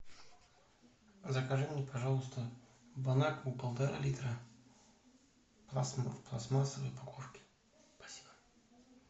закажи мне пожалуйста бонакву полтора литра в пластмассовой упаковке спасибо